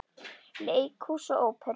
Leikhús og Óperur